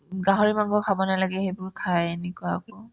গাহৰি মাংস খাব নালাগে সেইবোৰ খাই এনেকুৱা আকৌ